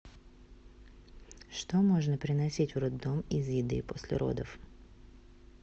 что можно приносить в роддом из еды после родов